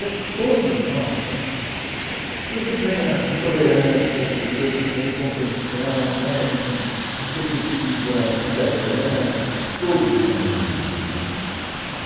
Eu acho que todos nós né, você ganha em tolerância, entendeu, você ganha em compreensão né, em em perspectiva cidadã, todos nós ganhamos né.